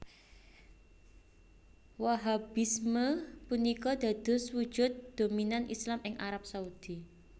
Wahhabisme punika dados wujud dominan Islam ing Arab Saudi